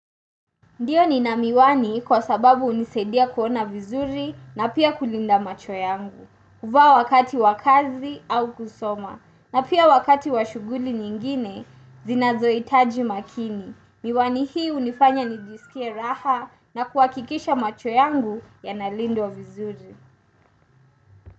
Ndiyo nina miwani kwa sababu hunisaidia kuona vizuri na pia kulinda macho yangu. Huvaa wakati wa kazi au kusoma. Na pia wakati wa shuguli nyingine, zinazo hitaji makini. Miwani hii hunifanya nijisikie raha na kuhakikisha macho yangu yanalindwa vizuri.